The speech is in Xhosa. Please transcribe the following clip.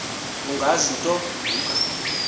ungazi nto ngumka